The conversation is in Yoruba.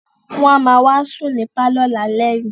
Wọ́n á ma wá sùn ní pálọ̀ lálẹ́ yìí